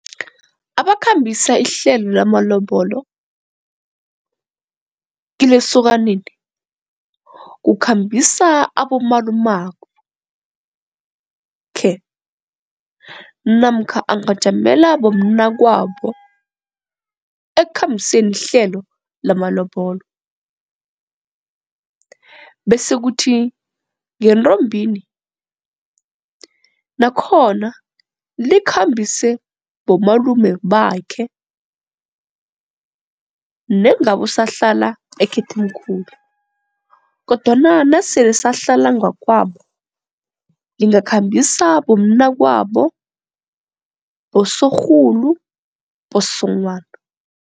Abakhambisa ihlelo lamalobolo, kilesokaneni kukhambisa abomalumako khe namkha angajamela bomnakwabo ekukhambiseni ihlelo lamalobolo. Bese kuthi ngentombini nakhona likhambise bomalume bakhe nengabo usahlala ekhethemkhulu kodwana nasele sahlala ngakwabo Lingamkhambisa bomnakwabo, bosorhulu, bosonghwana.